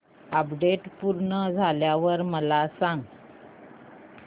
update पूर्ण झाल्यावर मला सांग